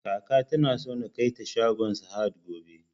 Kaka tana so na kaita shagon sahad gobe